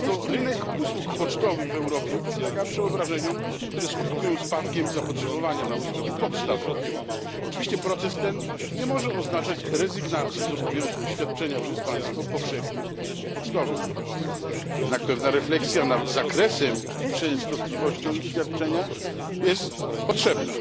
Rynek usług pocztowych w Europie podlega przeobrażeniom, które skutkują spadkiem zapotrzebowania na usługi podstawowe. Oczywiście proces ten nie może oznaczać rezygnacji z obowiązku świadczenia przez państwo powszechnych usług pocztowych, jednak pewna refleksja nad zakresem i częstotliwością ich świadczenia jest potrzebna.